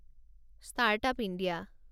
start up India